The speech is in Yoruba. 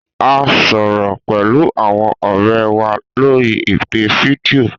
A sọrọ pẹlu awọn ọrẹ wa lori ipe fidio.